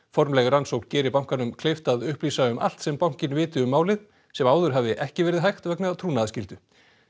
formleg rannsókn geri bankanum kleift að upplýsa um allt sem bankinn viti um málið sem áður hafi ekki verið hægt vegna trúnaðarskyldu